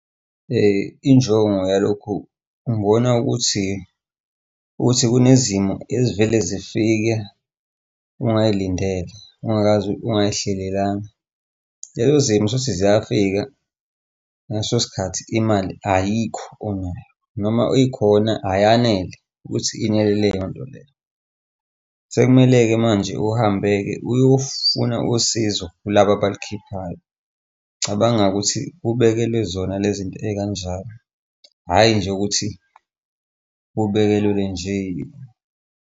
Injongo yalokhu ngibona ukuthi, ukuthi kunezimo ezivele zifike ungay'lindele, ungakaze, ungay'hlelanga. Lezo zimo uthole ukuthi ziyafika ngaleso sikhathi imali ayikho onayo, noma ikhona ayanele ukuthi yenele leyo nto leyo. Sekumele-ke manje uhambe-ke uyofuna usizo kulaba abalukhiphayo. Cabanga ukuthi kubekelwe zona le zinto ey'kanjani, hhayi nje ukuthi kubekelwe nje.